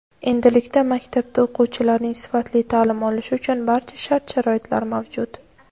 Endilikda maktabda o‘quvchilarning sifatli ta’lim olishi uchun barcha shart-sharoitlar mavjud.